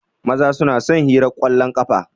Maza su na son hirar kwallon ƙafa.